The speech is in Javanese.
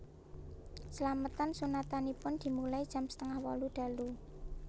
Slametan sunatanipun dimulai jam setengah wolu dalu